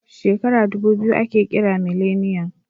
Shekara ɗubu biyu ake kira mileniyan